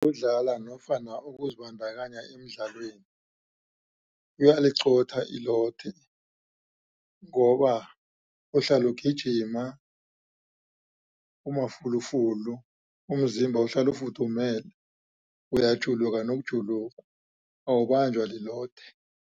Ukudlala nofana ukuzibandakanya emidlalweni kuyaliqotha ilothe ngoba uhlala ugijima umafulufulu umzimba uhlala ufudumele uyajuluka nokujuluka awubanjwa lilothe.